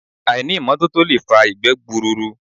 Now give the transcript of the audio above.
Àìní ìmọ́tótó lè fa ìgbẹ́ gbùrùùrù